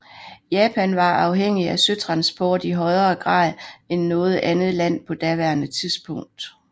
Japan var afhængig af søtransport i højere grad end noget andet land på daværende tidspunkt